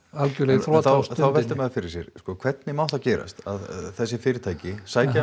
í þrot þá veltir maður fyrir sér hvernig má það gerast að þessi fyrirtæki sækja